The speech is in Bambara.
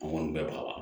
bɛɛ b'a la